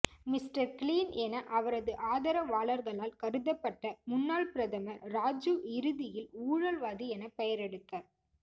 mister Clean என அவரது ஆதரவாளர்களால் கருதப்பட்ட முன்னாள் பிரதமர் ராஜீவ் இறுதியில் ஊழல்வாதி எனப் பெயரெடுத்தார்